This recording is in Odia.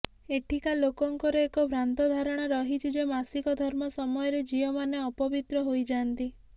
ଏଠିକା ଲୋକଙ୍କର ଏକ ଭ୍ରାନ୍ତ ଧାରଣା ରହିଛି ଯେ ମାସିକ ଧର୍ମ ସମୟରେ ଝିଅ ମାନେ ଅପବିତ୍ର ହୋଇଯାନ୍ତି